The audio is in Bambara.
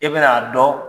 I bɛn'a dɔn